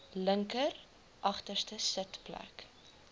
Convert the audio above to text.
linker agterste sitplek